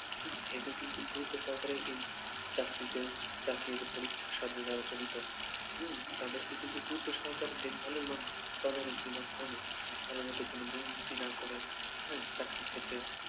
এদের কিন্তু গুরুত্ব সহকারে এই চাকরিতে চাকরির পরীক্ষার সাথে যারা জড়িত, হম তাদেরকে কিন্তু গুরুত্ব সহকারে দিনফেলের মাধ্যমে তদারকির মাধ্যমে তারা যাতে কোনো দুর্নীতি না করে হ্যা চাকরির ক্ষেত্রে